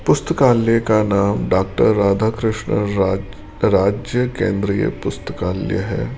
पुस्तकालय का नाम डॉक्टर राधाकृष्ण रा राज्य केंद्रीय पुस्तकालय है।